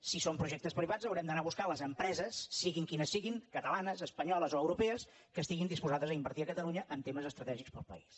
si són projectes privats haurem d’anar a buscar les empreses siguin quines siguin catalanes espanyoles o europees que estiguin disposades a invertir a catalunya en temes estratègics per al país